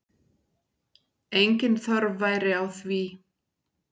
Engin þörf væri á því.